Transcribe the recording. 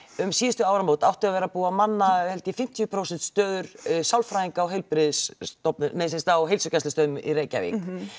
um síðustu áramót átti að vera búið að manna held ég fimmtíu prósent stöður sálfræðinga á heilbrigðisstofnunum nei semsagt á heilsugæslustöðvum í Reykjavík